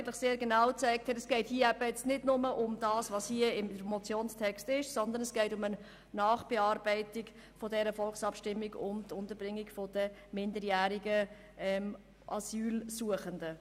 Es hat sehr genau gezeigt, dass es hier nicht nur darum geht, was im Motionstext steht, sondern um eine Nachbearbeitung der Volksabstimmung über die Unterbringung minderjähriger Asylsuchender. «